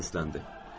O səsləndi.